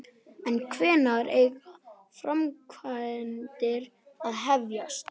En hvenær eiga framkvæmdir að hefjast?